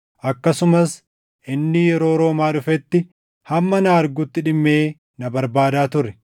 Akkasumas inni yeroo Roomaa dhufetti hamma na argutti dhimmee na barbaadaa ture.